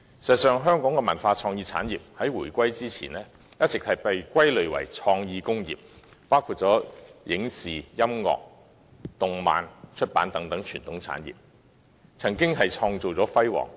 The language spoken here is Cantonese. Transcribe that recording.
事實上，香港的文化創意產業在回歸前一直被歸類為創意工業，包括影視、音樂、動漫和出版等傳統產業，曾經創造出輝煌的成績。